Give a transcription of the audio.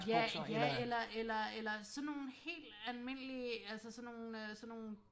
Ja ja eller eller eller sådan nogle helt almindelige altså sådan nogle sådan nogle